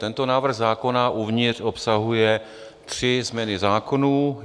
Tento návrh zákona uvnitř obsahuje tři změny zákonů.